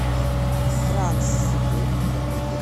транс